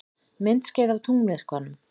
Myndskeið af tunglmyrkvanum